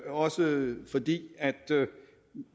også fordi